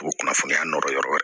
U bɛ kunnafoniya nɔrɔ yɔrɔ wɛrɛ